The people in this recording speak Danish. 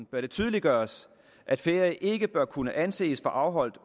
bør det tydeliggøres at ferie ikke bør kunne anses for afholdt